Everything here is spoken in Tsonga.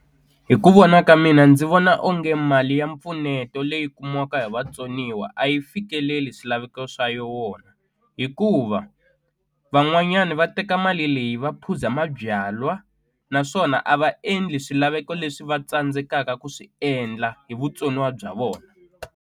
Hi ku vona ka mina ndzi vona onge mali ya mpfuneto leyi kumiwaka hi vatsoniwa a yi fikeleli swilaveko swa yona hikuva van'wanyani va teka mali leyi va phuza mabyalwa naswona a va endli swilaveko leswi va tsandzekaka ku swi endla hi vutsoniwa bya vona.